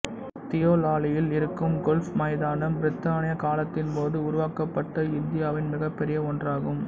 தியோலாலியில் இருக்கும் கோல்ஃப் மைதானம் பிரித்தானியக் காலத்தின் போது உருவாக்கப்பட்ட இந்தியாவின் மிகப்பெரிய ஒன்றாகும்